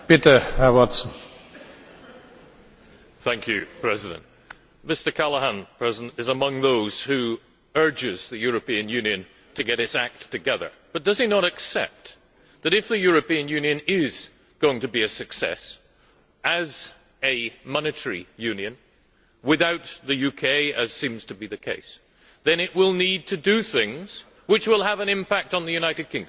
Mr President, Mr Callanan is among those who urge the European Union to get its act together. But does he not accept that if the European Union is going to be a success as a monetary union without the UK, as seems to be the case then it will need to do things which will have an impact on the United Kingdom.